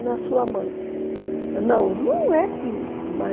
na sua não, não é que